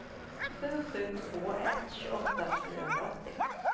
sju sju två ett tjugoåtta fyrahundraåttio